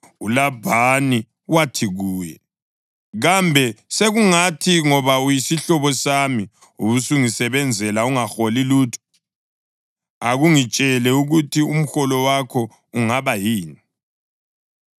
uLabhani wathi kuye, “Kambe sekungathi ngoba uyisihlobo sami ubusungisebenzela ungaholi lutho? Akungitshele ukuthi umholo wakho ungaba yini?”